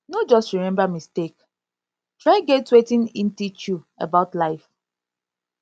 no just remmba mistake try get wetin em teach you about life